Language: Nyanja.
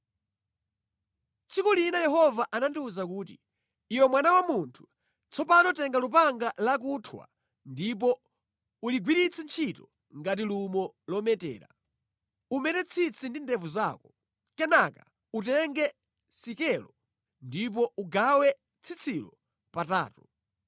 Tsiku lina Yehova anandiwuza kuti, “Iwe mwana wa munthu, tsopano tenga lupanga lakuthwa ndipo uligwiritse ntchito ngati lumo lometera. Umete tsitsi ndi ndevu zako. Kenaka utenge sikelo ndipo ugawe tsitsilo patatu.